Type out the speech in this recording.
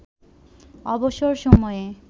অবসর সময়ে